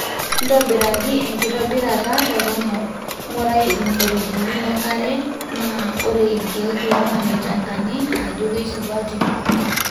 ntobiraki enkitobirata toronok, ngurai ilmuferejeni le nkare na ore ilkiek lomaanita enkaji ajo keisupati